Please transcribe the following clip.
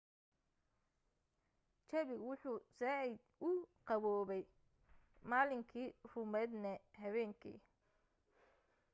jawigu wuxuu said u qabowyahay maalinkii ruumadne habeenkii